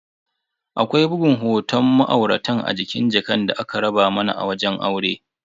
Akwai bugun hoton ma'auratan a jikin jakan da aka raba mana a wajen aure.